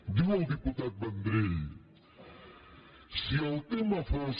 diu el diputat vendrell si el tema fos